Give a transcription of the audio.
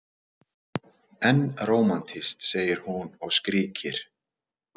En rómantískt, segir hún og skríkir.